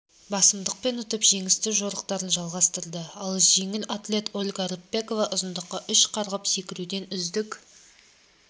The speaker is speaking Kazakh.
басымдықпен ұтып жеңісті жорықтарын жалғастырды ал жеңіл атлет ольга рыпакова ұзындыққа үш қарғып секіруден үздік